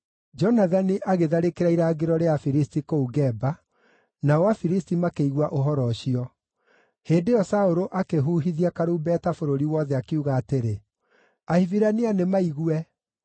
Jonathani agĩtharĩkĩra irangĩro rĩa Afilisti kũu Geba, nao Afilisti makĩigua ũhoro ũcio. Hĩndĩ ĩyo Saũlũ akĩhuhithia karumbeta bũrũri wothe, akiuga atĩrĩ, “Ahibirania nĩ maigue!”